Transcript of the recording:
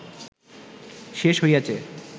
শেষ হইয়াছে